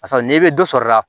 Paseke n'i bɛ dɔ sɔrɔ a la